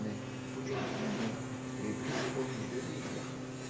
Yəni bu gün yəni biz o gücdə deyilik axır.